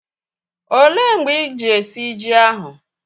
Ọ léé mgbe iji esi ji ahụ?